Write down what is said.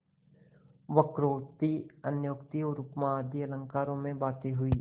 वक्रोक्ति अन्योक्ति और उपमा आदि अलंकारों में बातें हुईं